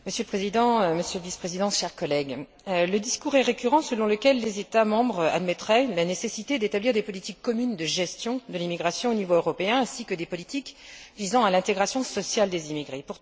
Monsieur le Président, Monsieur le Vice président, chers collègues, le discours est récurrent selon lequel les États membres admettraient la nécessité d'établir des politiques communes de gestion de l'immigration au niveau européen ainsi que des politiques visant à l'intégration sociale des immigrés.